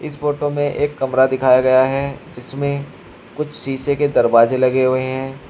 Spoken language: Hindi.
इस फोटो में एक कमरा दिखाया गया है जिसमें कुछ शीशे के दरवाजे लगे हुए हैं।